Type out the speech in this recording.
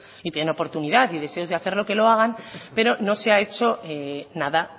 si tienen oportunidad y deseos de hacerlo que lo hagan pero no se ha hecho nada